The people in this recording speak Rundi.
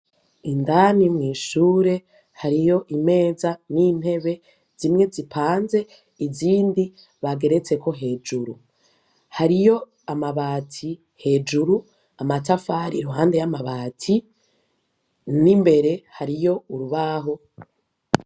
Indani mw'ishure hariyo imeza n'intebe zimwe zipanze izindi bageretseko hejuru, hariyo amabati hejuru amatafari iruhande yamabati, n'imbere hariyo urubaho.